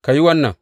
Ka yi wannan.